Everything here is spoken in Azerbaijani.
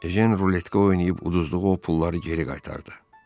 Ejen ruletdə oynayıb uduzduğu o pulları geri qaytardı.